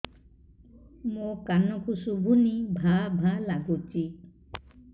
ମୋ କାନକୁ ଶୁଭୁନି ଭା ଭା ଲାଗୁଚି